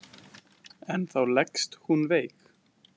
En þá leggst hún veik.